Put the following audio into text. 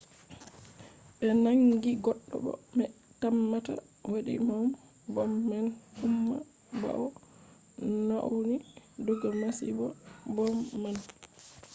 ɓe nangi goɗɗo mo ɓe tammata waɗi bom man umma ɓawo o nauni diga masibo bom man